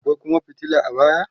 akwai Kuma fitila a baya